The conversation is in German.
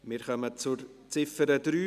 Wir kommen zur Ziffer 3.